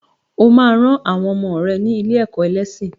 O ma ran àwọn ọmọ rẹ ní ilé-ẹ̀kọ́ ẹlẹ́sìn.